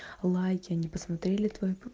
лайки они посмотрели твои